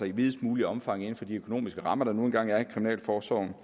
i videst muligt omfang inden for de økonomiske rammer der nu engang er i kriminalforsorgen